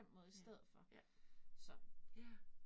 Ja, ja. Ja